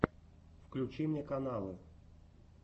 включи мне каналы